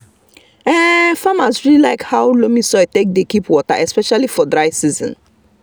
um farmers really like how loamy soil take dey keep water especially for dry season.